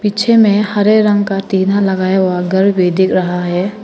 पीछे में हरे रंग का तीला लगाया हुआ घर भी दिख रहा है।